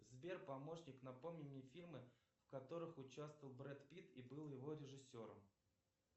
сбер помощник напомни мне фильмы в которых участвовал брэд питт и был его режиссером